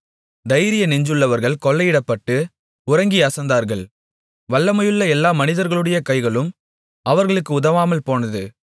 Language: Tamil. தைரிய நெஞ்சுள்ளவர்கள் கொள்ளையிடப்பட்டு உறங்கி அசந்தார்கள் வல்லமையுள்ள எல்லா மனிதர்களுடைய கைகளும் அவர்களுக்கு உதவாமல்போனது